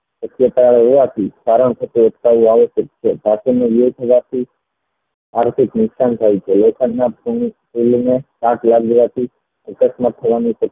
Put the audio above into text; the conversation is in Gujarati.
શક્યતા એ આપી આર્થિક નુકશાન થાય છે કાટ લાગવા થી આકષમત થવાની શક્યતા